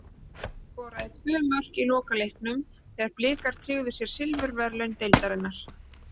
Skoraði tvö mörk í lokaleiknum þegar Blikar tryggðu sér silfurverðlaun deildarinnar.